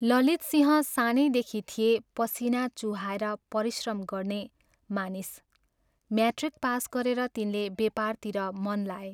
ललितसिंह सानैदेखि थिए पसीना चुहाएर परिश्रम गर्ने मानिस म्याट्रिक पास गरेर तिनले बेपारतिर मन लाए।